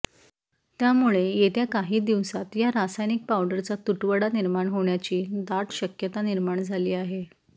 त्यामुळे येत्या काही दिवसांत या रासायनिक पावरडचा तुटवडा निर्माण होण्याची दाट शक्यता निर्माण झाली आहे